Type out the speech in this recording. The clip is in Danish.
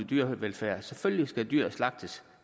dyrevelfærd og selvfølgelig skal dyr slagtes